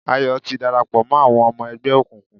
Ayọ̀ ti darapọ̀ mọ́ àwọn ọmọ ẹgbẹ́ òkùnkùn